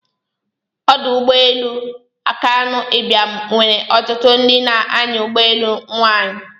Ọdụ ụgbọ elu Akanu Ibiam nwere ọtụtụ ndị na-anya ụgbọelu nwanyi.